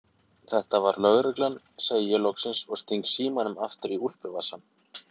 Þetta var lögreglan, segi ég loksins og sting símanum aftur í úlpuvasann.